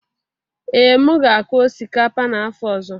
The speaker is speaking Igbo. Ee, m ga-akụ osikapa n'afọ ọzọ